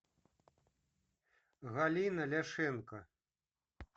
галина ляшенко